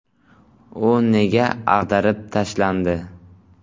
U nega ag‘darib tashlandi ?